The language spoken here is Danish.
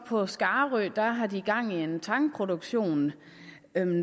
på skarø gang i en tangproduktion